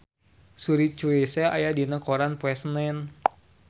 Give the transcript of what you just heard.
Suri Cruise aya dina koran poe Senen